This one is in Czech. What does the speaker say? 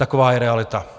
Taková je realita.